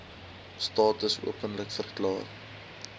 status openlik verklaar